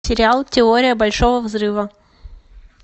сериал теория большого взрыва